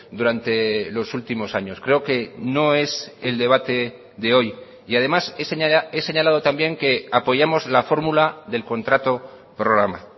durante los últimos años creo que no es el debate de hoy y además he señalado también que apoyamos la fórmula del contrato programa